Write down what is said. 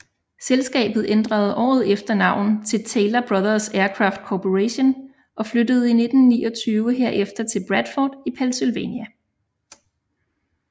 Selskabet ænderede året efter navn til Taylor Brothers Aircraft Corporation og flyttede i 1929 herefter til Bradford i Pennsylvania